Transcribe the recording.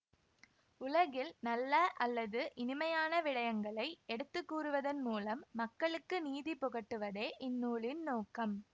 உலகில் நல்ல அல்லது இனிமையான விடயங்களை எடுத்துக்கூறுவதன் மூலம் மக்களுக்கு நீதி புகட்டுவதே இந்நூலின் நோக்கம்